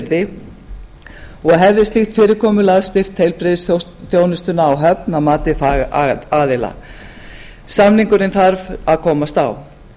yrði og hefði slíkt fyrirkomulag styrkt heilbrigðisþjónustuna á höfn að mati fagaðila samningurinn þarf að komast á